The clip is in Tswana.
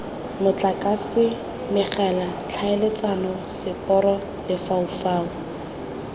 motlakase megala tlhaeletsano seporo lefaufau